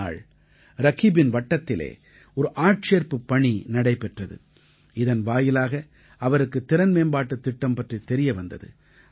ஒரு நாள் ரகீபின் வட்டத்திலே ஒரு ஆட்சேர்ப்புப் பணி நடைபெற்றது இதன் வாயிலாக அவருக்கு திறன்மேம்பாட்டுத் திட்டம் பற்றித் தெரிய வந்தது